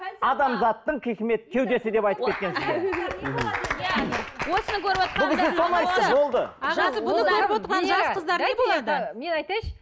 адамзаттың хикмет кеудесі мен айтайыншы